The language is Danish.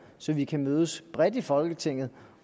så vi kan mødes bredt i folketinget